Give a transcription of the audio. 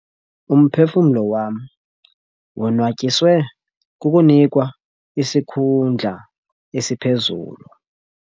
Umphefumlo wam wonwatyiswe kukunikwa isikhundla esiphezulu.